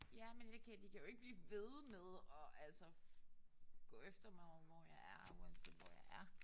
Ja men jeg kan de kan jo ikke blive ved med at altså gå efter mig hvor jeg er uanset hvor jeg er